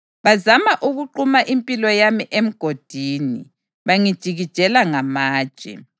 Bazama ukuquma impilo yami emgodini bangijikijela ngamatshe;